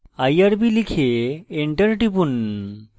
irb লিখে enter টিপুন